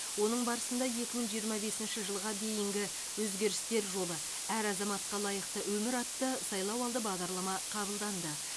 оның барысында екі мың жиырма бесінші жылға дейінгі өзгерістер жолы әр азаматқа лайықты өмір атты сайлауалды бағдарлама қабылданды